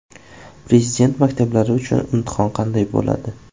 Prezident maktablari uchun imtihon qanday bo‘ladi?.